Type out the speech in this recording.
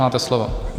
Máte slovo.